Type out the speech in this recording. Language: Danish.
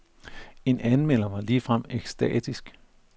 En anmelder var ligefrem ekstatisk.